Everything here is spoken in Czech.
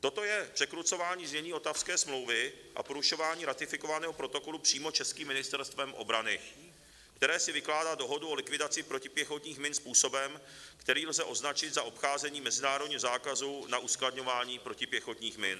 Toto je překrucování znění Ottawské smlouvy a porušování ratifikovaného protokolu přímo českým Ministerstvem obrany, které si vykládá dohodu o likvidaci protipěchotních min způsobem, který lze označit za obcházení mezinárodního zákazu na uskladňování protipěchotních min.